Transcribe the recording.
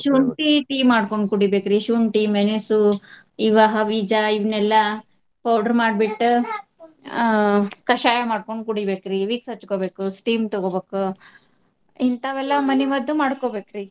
ಶುಂಠಿ tea ಮಾಡ್ಕೊಂಡ್ ಕುಡಿಬೇಕ್ರಿ. ಶುಂಠಿ, ಮೆಣಸು ಬೀಜ ಇವನೆಲ್ಲಾ powder ಮಾಡ್ಬಿಟ್ಟ್ ಆ ಕಷಾಯ ಮಾಡ್ಕೊಂಡ್ ಕುಡಿಬೇಕ್ರಿ. Vicks ಹಚ್ಕೊಬೇಕು steam ತಗೋಬೇಕ್. ಇಂತಾವೆಲ್ಲಾ ಮನೆಮದ್ದು ಮಾಡ್ಕೊಬೇಕ್ರಿ.